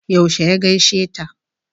Yaushe ya gaishe ta?